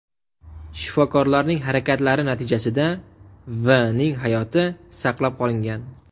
Shifokorlarning harakatlari natijasida V. ning hayoti saqlab qolingan.